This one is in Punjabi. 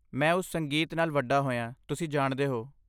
ਮੈਂ ਉਸ ਸੰਗੀਤ ਨਾਲ ਵੱਡਾ ਹੋਇਆ, ਤੁਸੀਂ ਜਾਣਦੇ ਹੋ।